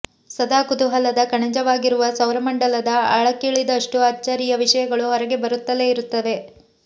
ಸದಾ ಕುತೂಹಲದ ಕಣಜವಾಗಿರುವ ಸೌರಮಂಡಲದ ಆಳಕ್ಕಿಳಿದಷ್ಟು ಅಚ್ಚರಿಯ ವಿಷಯಗಳು ಹೊರಗೆ ಬರುತ್ತಲೇ ಇರುತ್ತವೆ